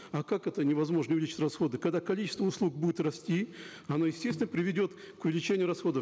а как это невозможно увеличить расходы когда количество услуг будет расти оно естественно приведет к увеличению расходов